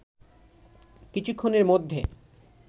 কিছুক্ষণের মধ্যে